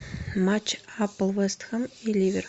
матч апл вест хэм и ливер